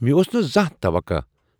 مےٚ اوس نہٕ زانٛہہ توقع